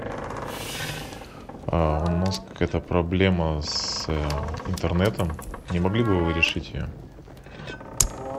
у нас какая то проблема с интернетом не могли бы вы решить ее